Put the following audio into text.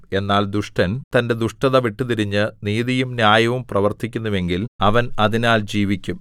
എന്നാൽ ദുഷ്ടൻ തന്റെ ദുഷ്ടത വിട്ടുതിരിഞ്ഞ് നീതിയും ന്യായവും പ്രവർത്തിക്കുന്നുവെങ്കിൽ അവൻ അതിനാൽ ജീവിക്കും